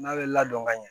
N'a bɛ ladon ka ɲɛ